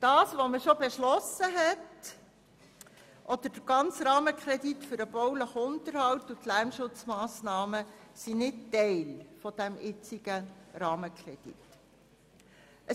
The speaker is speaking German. Was man bereits beschlossen hat oder der ganze Rahmenkredit für den baulichen Unterhalt und die Lärmschutzmassnahmen ist Teil des aktuellen Rahmenkredits.